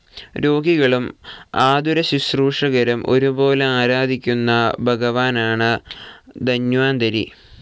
രോഗികളും ആതുരശ്രുശൂഷകരും ഒരുപോലെ ആരാധിക്കുന്ന ഭഗവാനാണ് ധന്വന്തരി.